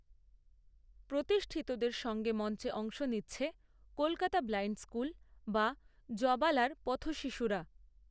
প্রতিষ্ঠিতদের সঙ্গে মঞ্চে অংশ নিচ্ছে কলকাতা ব্লাইণ্ড স্কুল বা জবালার পথশিশুরাও